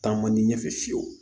Taa man di ɲɛfɛ fiyewu